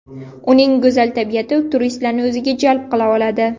Uning go‘zal tabiati turistlarni o‘ziga jalb qila oladi.